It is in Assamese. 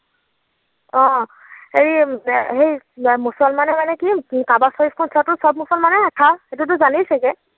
অ, সেই মুছলমানে মানে কি কাবা শ্বৰীফখন চোৱাটো চব মুছলমানৰেই আশা সেইটোতো জানেই চাগে?